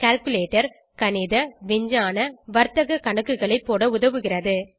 calculator கணித விஞ்ஞான வர்த்தக கணக்குகளை போட உதவுகிறது